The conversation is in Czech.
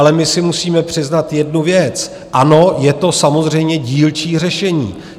Ale my si musíme přiznat jednu věc - ano, je to samozřejmě dílčí řešení.